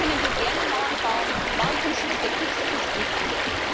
Dort können wir gerne Mauern bauen, Mauern zum Schutz der Kriegsflüchtlinge.